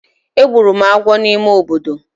Egburu m agwo n’ime obodo